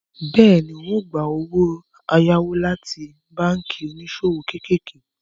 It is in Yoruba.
Bẹ́ẹ̀ni, ń ó gbà owó ẹ̀yáwó láti báànkì oníṣòwò kéékèèké